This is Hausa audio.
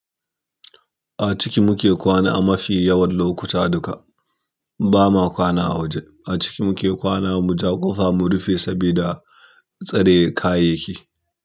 A ciki muke kwana a mafi yawan lokuta duka, ba ma kwana a waje. A ciki muke kwana mu ja ƙofa mu rufe saboda tsare kayayyaki.